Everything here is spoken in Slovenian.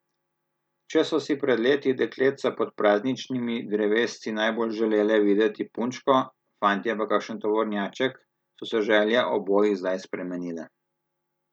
Če so si pred leti dekletca pod prazničnimi drevesci najbolj želele videti punčko, fantje pa kakšen tovornjaček, so se želje obojih zdaj spremenile.